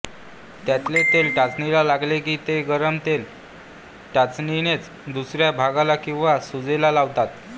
त्यातले तेल टाचणीला लागले की ते गरम तेल टाचणीनेच दुखऱ्या भागाला किंवा सुजेला लावतात